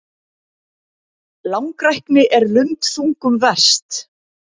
Langrækni er lundþungum verst.